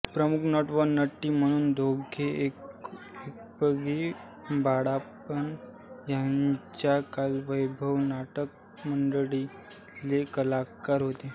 प्रमुख नट व नटी म्हणून दोघे एणगी बाळप्पा ह्यांच्या कलावैभव नाटक मंडळीतले कलाकार होते